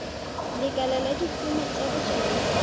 lekala la dikumo tsa bojalwa